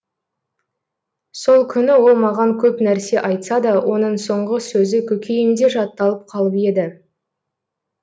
сол күні ол маған көп нәрсе айтса да оның соңғы сөзі көкейімде жатталып қалып еді